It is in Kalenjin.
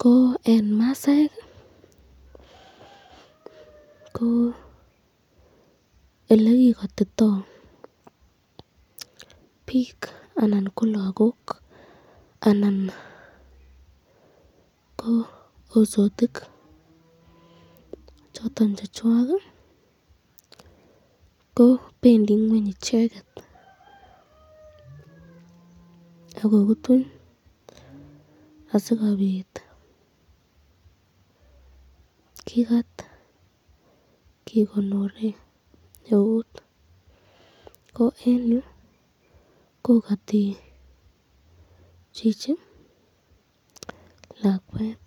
ko eng masaek ko elekikotito bik anan ko lagok anan ko hosotik choton chechwak, ko bendi ngweny icheket ak kokutuny asikobit kikat kikonoren eut, ko eng yu kokati chichi lakwet .